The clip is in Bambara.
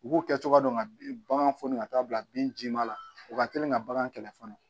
U b'u kɛcogoya dɔn ka ban foni ka taa bila bin ji ma la u ka teli ka bagan kɛlɛ fɔlɔ